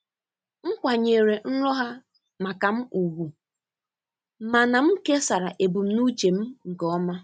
M kwanyere nrọ ha maka m ùgwù mana m kesara ebumnuche m nke ọma.